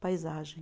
Paisagem.